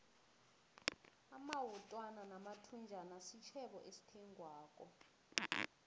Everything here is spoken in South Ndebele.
amawutwana namathunjana sitjhebo esithengwako